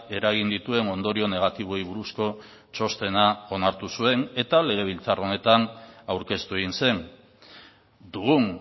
eragin dituen ondorio negatiboei buruzko txostena onartu zuen eta legebiltzar honetan aurkeztu egin zen dugun